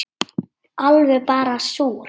Alveg bara súr